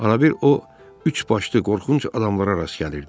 Az qala bir o üçbaşlı qorxunc adamlara rast gəlirdi.